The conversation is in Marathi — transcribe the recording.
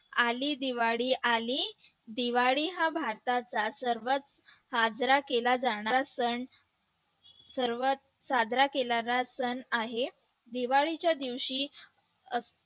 आली दिवाळी आली दिवाळी हा भारताचा सर्वात साजरा केला जाणारा सण सर्वात साजरा केला जाणारा सण आहे दिवाळीच्या दिवशी